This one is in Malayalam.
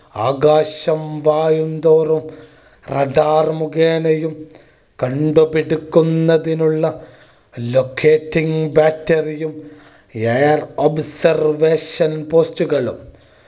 ആകാശം വായുംതോറും radar മുഖേനയും കണ്ടുപിടിക്കുന്നതിനുള്ള locating battery യും air observation post കളും